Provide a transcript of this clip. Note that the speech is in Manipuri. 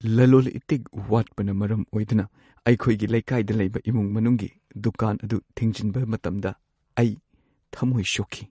ꯂꯂꯣꯜ-ꯏꯇꯤꯛ ꯋꯥꯠꯄꯅ ꯃꯔꯝ ꯑꯣꯏꯗꯨꯅ ꯑꯩꯈꯣꯏꯒꯤ ꯂꯩꯀꯥꯏꯗ ꯂꯩꯕ ꯏꯃꯨꯡ-ꯃꯅꯨꯡꯒꯤ ꯗꯨꯀꯥꯟ ꯑꯗꯨ ꯊꯤꯡꯖꯤꯟꯕ ꯃꯇꯝꯗ ꯑꯩ ꯊꯝꯃꯣꯏ ꯁꯣꯛꯈꯤ꯫